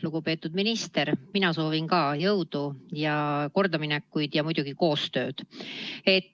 Lugupeetud minister, mina soovin ka jõudu ja kordaminekuid ja muidugi koostööd!